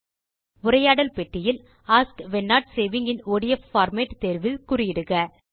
உரையாடல் பெட்டியில் ask when not saving in ODF format தேர்வில் குறியிடுக